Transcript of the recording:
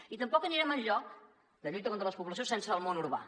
i tampoc anirem enlloc en la lluita contra la despoblació sense el món urbà